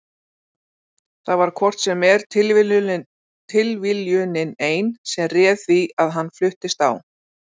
Það var hvort sem er tilviljunin ein sem réð því að hann fluttist á